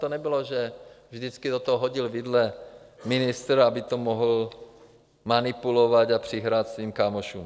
To nebylo, že vždycky do toho hodil vidle ministr, aby to mohl manipulovat a přihrát svým kámošům.